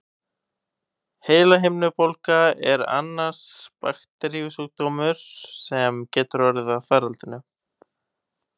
Heilahimnubólga er annar bakteríusjúkdómur, sem getur orðið að faraldri.